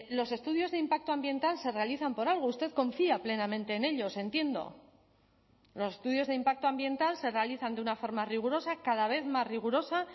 los estudios de impacto ambiental se realizan por algo usted confía plenamente en ellos entiendo los estudios de impacto ambiental se realizan de una forma rigurosa cada vez más rigurosa